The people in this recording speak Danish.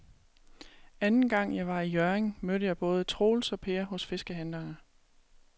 Anden gang jeg var i Hjørring, mødte jeg både Troels og Per hos fiskehandlerne.